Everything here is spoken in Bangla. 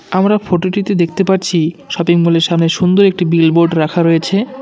আমরা ফটোটিতে দেখতে পারছি শপিংমলের সামনে সুন্দর একটি বিলবোর্ড রাখা রয়েছে।